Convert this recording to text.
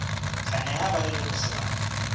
tla neha ba leloko sebaka